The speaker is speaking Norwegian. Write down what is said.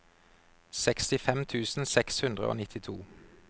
sekstifem tusen seks hundre og nittito